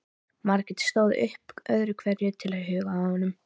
Margrét stóð upp öðru hverju til að huga að honum.